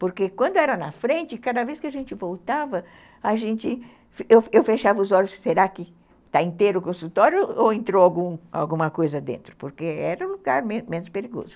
Porque quando era na frente, cada vez que a gente voltava, a gente, eu fechava os olhos se será que está inteiro o consultório ou entrou alguma coisa dentro, porque era um lugar menos perigoso.